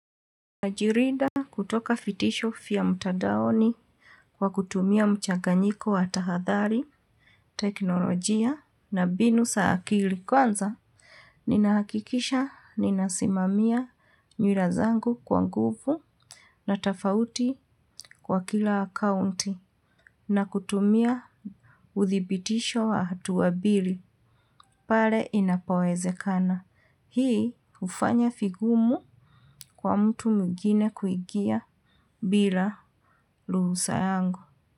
Najirida kutoka fitisho fya mutadaoni kwa kutumia mchaganyiko wa tahadhari, teknolojia na binu sa akili. Kwanza, ninahakikisha ninasimamia nyura zangu kwa nguvu na tafauti kwa kila akaunti na kutumia udhibitisho wa hatua bili. Pare inapowezekana. Hii hufanya figumu kwa mtu mwigine kuigia bila ruhusa yangu.